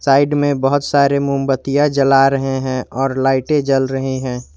Side में बहोत सारे मोमबत्तियां जला रहे हैं और लाइटे जल रहे हैं।